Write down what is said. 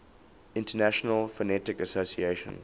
international phonetic association